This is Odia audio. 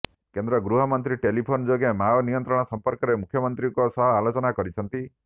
କେନ୍ଦ୍ର ଗୃହମନ୍ତ୍ରୀ ଟେଲିଫୋନ ଯୋଗେ ମାଓ ନିୟନ୍ତ୍ରଣ ସମ୍ପର୍କରେ ମୁଖ୍ୟମନ୍ତ୍ରୀଙ୍କ ସହ ଆଲୋଚନା କରିଛନ୍ତି